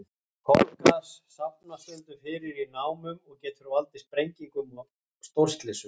Kolagas safnast stundum fyrir í námum og getur valdið sprengingum og stórslysum.